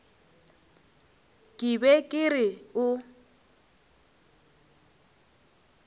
ke be ke re o